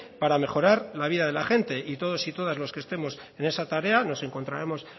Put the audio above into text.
para mejorar la vida de la gente y todos y todas los que estemos en esa tarea nos encontraremos